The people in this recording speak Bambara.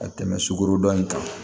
Ka tɛmɛ sugorodɔn in kan